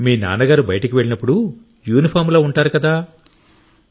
మీ నాన్న గారు బయటకు వెళ్లినప్పుడు యూనిఫాంలో ఉంటాడు కదా